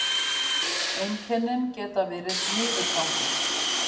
einkennin geta verið niðurgangur